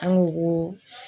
An ko ko.